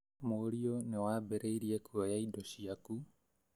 Mũriũ nĩ wambĩrĩirie kuoya indo cĩaku